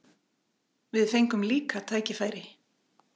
Við fengum líka tækifæri.